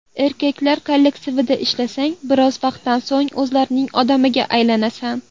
Erkaklar kollektivida ishlasang, biroz vaqtdan so‘ng o‘zlarining odamiga aylanasan.